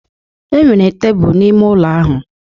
Enwere tebụl n'ime ụlọ ahụ